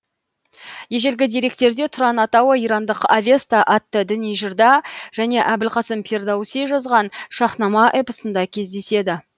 ежелгі деректерде тұран атауы ирандық авеста атты діни жырда және әбілқасым фирдауси жазған шах нама эпосында кездеседі